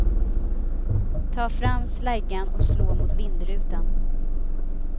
Ta fram släggan och slå mot vindrutan.